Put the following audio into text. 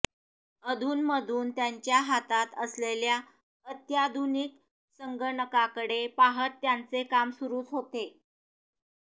मधूनमधून त्यांच्या हातात असलेल्या अत्याधुनिक संगणकाकडे पाहत त्यांचे काम सुरूच असते